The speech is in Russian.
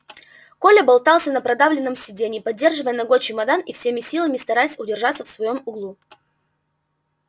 коля болтался на продавленном сиденье придерживая ногой чемодан и всеми силами стараясь удержаться в своём углу